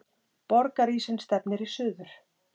Borgarísinn stefnir í suður